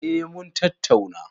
Eh mun tattauna.